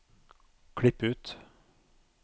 Klipp ut